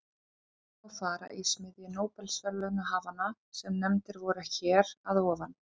Þar má fara í smiðju nóbelsverðlaunahafanna sem nefndir voru hér að ofan.